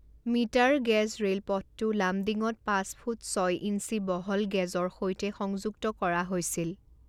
Metre gauge ৰে'লপথটো লামডিঙত পাঁচ ফুট ছয় ইঞ্চি বহল গেজৰ সৈতে সংযুক্ত কৰা হৈছিল।